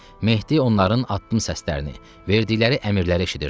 Mehdi onların addım səslərini, verdikləri əmirləri eşidirdi.